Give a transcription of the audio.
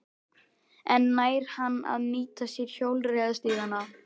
En nær hann að nýta sér hjólreiðastígana?